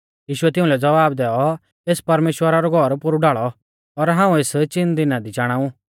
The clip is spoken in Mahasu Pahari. यीशुऐ तिउंलै ज़वाब दैऔ एस परमेश्‍वरा रौ घौर पोरु ढाल़ौ और हाऊं एस चिन दिना दी चाणाऊ